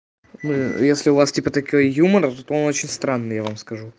если у вас типа такой юмора то он очень странный я вам скажу